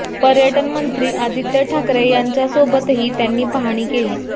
पर्यटन मंत्री आदित्य ठाकरे यांच्या सोबतही त्यांनी पाहणी केली